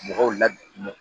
Mɔgɔw la